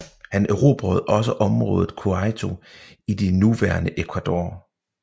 Han erobrede også området Quito i det nuværende Ecuador